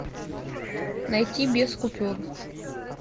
найти без купюр